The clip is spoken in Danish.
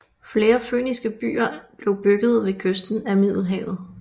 Flere fønikiske byer blev bygget ved kysten af Middelhavet